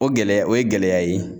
O gɛlɛya o ye gɛlɛya ye